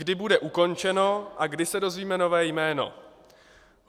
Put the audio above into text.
Kdy bude ukončeno a kdy se dozvíme nové jméno?